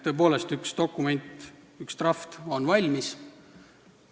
Tõepoolest, üks dokument, üks draft on valmis.